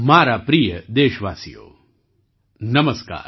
મારા પ્રિય દેશવાસીઓ નમસ્કાર